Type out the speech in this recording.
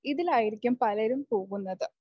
ഇതിലായിരിക്കും പലരും പോകുന്നത്.